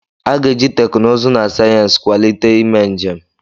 A ga-eji teknụzụ na sayensị kwalite ime njem.